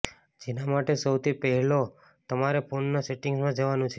જેના માટે સૌથી પહેલા તમારે ફોનના સેટિંગ્સમાં જવાનું છે